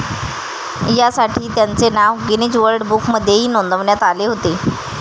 या साठी त्यांचे नाव गिनीज वर्ल्ड बुकमध्येही नोंदवण्यात आले होते.